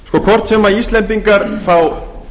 hvort sem íslendingar fá